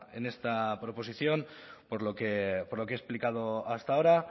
en esta proposición por lo que he explicado hasta ahora